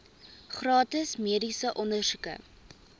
gratis mediese ondersoeke